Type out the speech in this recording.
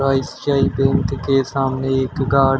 I C I bank के सामने एक गार्ड है।